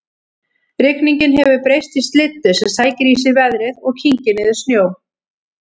Rigningin hefur breyst í slyddu sem sækir í sig veðrið og kyngir niður snjó